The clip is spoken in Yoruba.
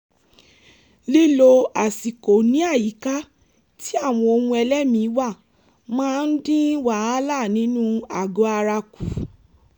lílo àsìkò ní àyíká tí àwọn ohun-ẹlẹ́mìí wà máa ń dín wàhálà nínú àgọ̀-ara kù